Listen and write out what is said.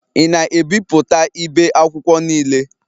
Ị na-ebipụta ibe akwụkwọ niile?